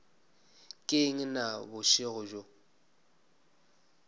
ke eng na bošego bjo